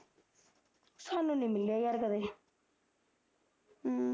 ਸਾਨੂੰ ਨੀ ਮਿਲਿਆ ਯਾਰ ਕਦੇ